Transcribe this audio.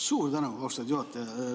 Suur tänu, austatud juhataja!